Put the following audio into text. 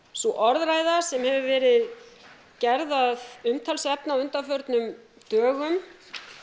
sú orðræða sem hefur verið gerð að umtalsefni á undanförnum dögum